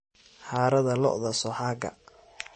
Harada lo'odha sooxaga.